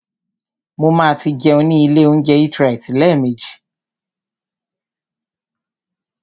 Mo ma tí jẹun ní ilé óúnjẹ EatRite lẹ́ẹ̀mejì.